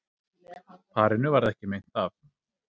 Parinu varð ekki meint af